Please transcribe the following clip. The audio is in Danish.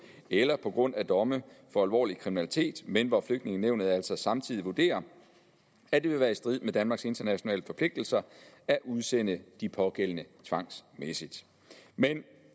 eller også på grund af domme for alvorlig kriminalitet men hvor flygtningenævnet altså samtidig vurderer at det vil være i strid med danmarks internationale forpligtelser at udsende de pågældende tvangsmæssigt men